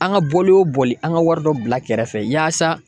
An ka bɔli o bɔli an ka wari dɔ bila kɛrɛfɛ yaasa